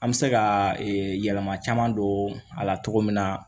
An bɛ se ka yɛlɛma caman don a la cogo min na